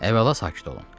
Əvvəla sakit olun.